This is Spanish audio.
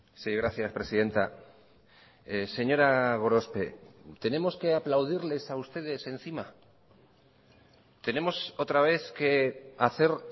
sí gracias presidenta señora gorospe tenemos que aplaudirles a ustedes encima tenemos otra vez que hacer